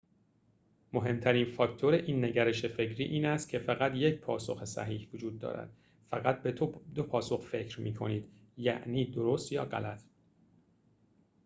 مهمترین فاکتور این نگرش فکری این است که فقط یک پاسخ صحیح وجود دارد فقط به دو پاسخ فکر می‌کنید یعنی درست یا غلط